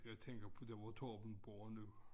Jeg tænker på der hvor Torben bor nu